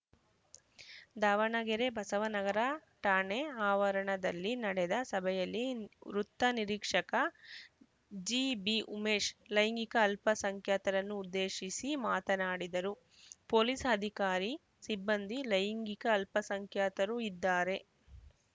ದಾವಣಗೆರೆ ಬಸವ ನಗರ ಠಾಣೆ ಆವರಣದಲ್ಲಿ ನಡೆದ ಸಭೆಯಲ್ಲಿ ವೃತ್ತ ನಿರೀಕ್ಷಕ ಜಿಬಿಉಮೇಶ್‌ ಲೈಂಗಿಕ ಅಲ್ಪಸಂಖ್ಯಾತರನ್ನು ಉದ್ದೇಶಿಸಿ ಮಾತನಾಡಿದರು ಪೊಲೀಸ್‌ ಅಧಿಕಾರಿ ಸಿಬ್ಬಂದಿ ಲೈಂಗಿಕ ಅಲ್ಪಸಂಖ್ಯಾತರು ಇದ್ದಾರೆ